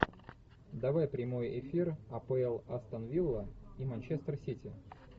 давай прямой эфир апл астон вилла и манчестер сити